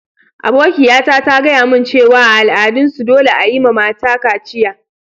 Abokiya ta ta gaya mun cewa a' al'adan su dolle a'yi ma mata kaciya.